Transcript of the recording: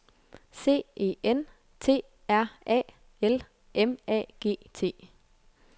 C E N T R A L M A G T